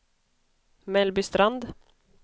Mellbystrand